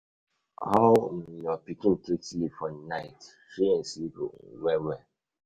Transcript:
How your pikin take sleep for night? him sleep well well?